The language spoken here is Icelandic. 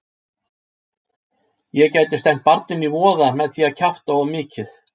Ég gæti stefnt barninu í voða með því að kjafta of mikið.